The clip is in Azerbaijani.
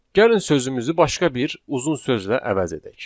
Gəlin sözümüzü başqa bir uzun sözlə əvəz edək.